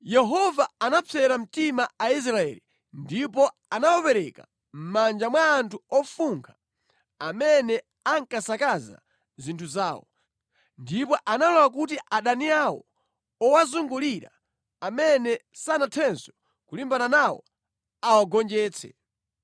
Yehova anapsera mtima Aisraeli ndipo anawapereka mʼmanja mwa anthu ofunkha amene ankasakaza zinthu zawo. Ndipo analola kuti adani awo owazungulira amene sanathenso kulimbana nawo, awagonjetse.